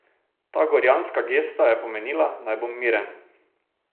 Ta gorjanska gesta je pomenila, naj bom miren.